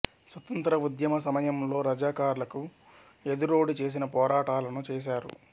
స్వతంత్ర ఉద్యమ సమయంలో రజాకర్లకు ఎదురోడి చేసిన పోరాటలను చేసారు